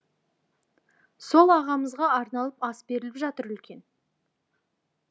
сол ағамызға арналып ас беріліп жатыр үлкен